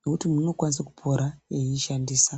nekuti munhu anokwanisa kupora eishandisa.